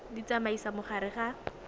di tsamaisa mo gare ga